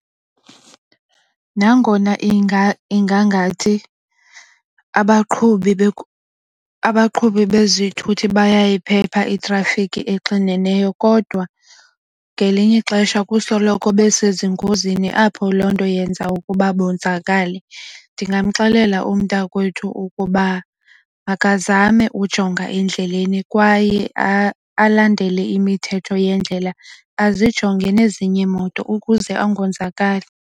Nangona inga ingangathi abaqhubi bezithuthi bayayiphepha itrafikhi exineneyo kodwa ngelinye ixesha kusoloko besezingozini apho loo nto yenza ukuba bonzakale. Ndingamxelela umntakwethu ukuba makazame ujonga endleleni kwaye alandele imithetho yendlela azijonge nezinye iimoto ukuze angonzakali.